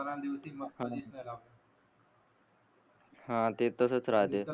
हा ते तसच राहते